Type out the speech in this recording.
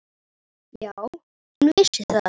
Já, hún vissi það.